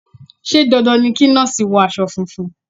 Ṣé dandan ni kí Nọ́ọ̀sì wọ aṣọ funfun.?